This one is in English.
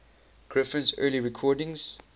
griffin's early recordings